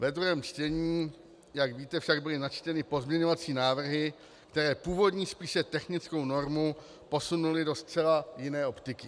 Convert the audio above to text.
Ve druhém čtení, jak víte, tady byly načteny pozměňovací návrhy, které původní spíše technickou normu posunuly do zcela jiné optiky.